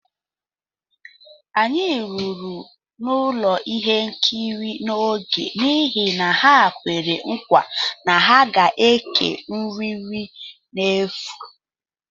Anyị ruru n'ụlọ ihe nkiri n'oge n'ihi na ha kwere nkwa na ha ga ékè nri nri n'efu